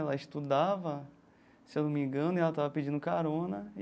Ela estudava, se eu não me engano, e ela tava pedindo carona.